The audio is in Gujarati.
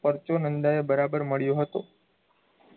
પરચુનંદાએ બરાબર મળ્યો હતો